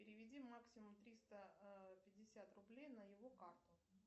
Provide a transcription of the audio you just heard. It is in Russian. переведи максимум триста пятьдесят рублей на его карту